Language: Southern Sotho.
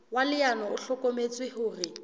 wa leano o hlokometse hore